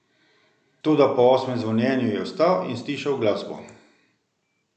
Toda po osmem zvonjenju je vstal in stišal glasbo.